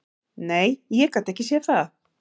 Nei, ég gat ekki séð það.